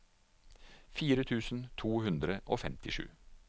fire tusen to hundre og femtisju